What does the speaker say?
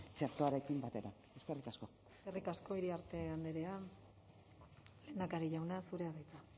txertoarekin batera eskerrik asko eskerrik asko iriarte andrea lehendakari jauna zurea da hitza